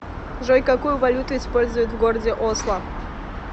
джой какую валюту используют в городе осло